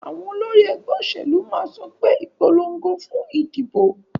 Àwon olórí egbé òsèlú máà sopé, "Ìpolongo fún ìdìbò"